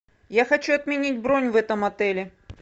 я хочу отменить бронь в этом отеле